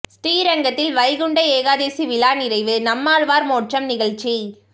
ஸ்ரீ ரங்கத்தில் வைகுண்ட ஏகாதசி விழா நிறைவு நம்மாழ்வார் மோட்சம் நிகழ்ச்சி